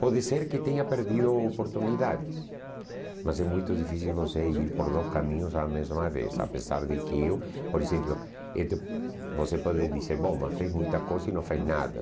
Pode ser que tenha perdido oportunidades, mas é muito difícil você ir por dois caminhos à mesma vez, apesar de que eu... Por exemplo, você pode dizer, bom, mas fez muita coisa e não fez nada.